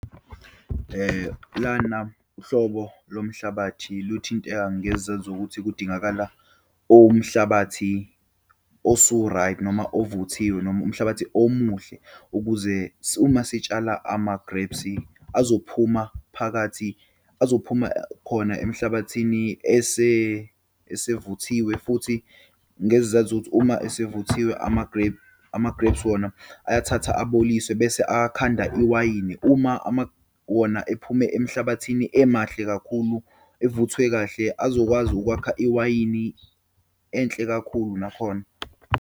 Lana uhlobo lomhlabathi luthinteka ngezenzo ukuthi kudingakala umhlabathi osu-right, noma ovuthiwe, noma umhlabathi omuhle, ukuze uma sitshala ama-grapes azophuma phakathi, azophuma khona emhlabathini esevuthiwe. Futhi ngezizathu sokuthi uma esevuthiwe ama-grape, ama-grapes wona ayathathwa aboliswe bese akhanda iwayini. Uma wona ephume emhlabathini emahle kakhulu, evuthwe kahle, azokwazi ukwakha iwayini enhle kakhulu nakhona